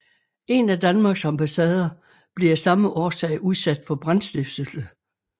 En af Danmarks ambassader blev af samme årsag udsat for brandstiftelse